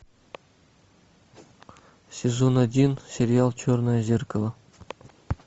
сезон один сериал черное зеркало